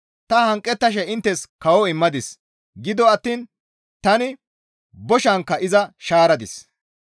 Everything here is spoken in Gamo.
Ta hanqettashe inttes kawo immadis; gido attiin tani boshankka iza shaaradis.